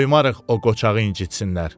Qoymarıq o qoçağı incitsinlər.